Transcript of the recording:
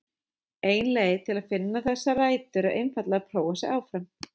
Ein leið til að finna þessar rætur er einfaldlega að prófa sig áfram.